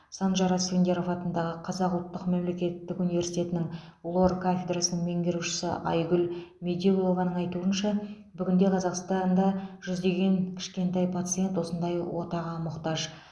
санжар асфендияров атындағы қазақ ұлтық мемлекеттік университетінің лор кафедрасының меңгерушісі айгүл медеулованың айтуынша бүгінде қазақстанда жүздеген кішкентай пациент осындай отаға мұқтаж